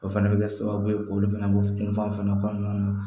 O fɛnɛ bɛ kɛ sababu ye k'olu fana bɔ kunfan fana kɔnɔna na